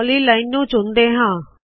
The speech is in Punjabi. ਪਾਲੀਲਾਇਨ ਨੂੰ ਚੁਣਦੇ ਹਾ